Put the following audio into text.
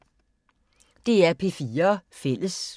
DR P4 Fælles